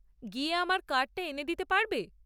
গিয়ে আমার কার্ডটা এনে দিতে পারবে?